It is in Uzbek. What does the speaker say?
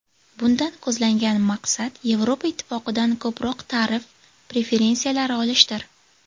Bundan ko‘zlangan maqsad Yevropa Ittifoqidan ko‘proq tarif preferensiyalari olishdir.